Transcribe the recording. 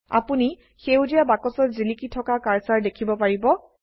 আপোনি সেউজীয়া বাক্সত জিলিকা থকা কাৰ্সাৰ দেখিব পাৰিব